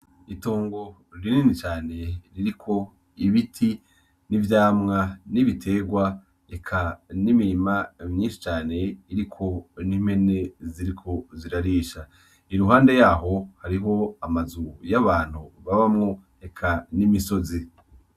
Itongo rinini cane ririko ibiti n'ivyamwa n'ibiterwa, eka n'imirima myinshi cane iriko n'impene ziriko zirarisha. Iruhande yaho, hariho amazu y'abantu babamwo, eka n'imisozi.